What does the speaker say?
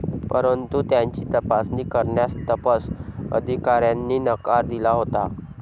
परंतु त्यांची तपासणी करण्यास तपस अधिकाऱ्यांनी नकार दिला होता.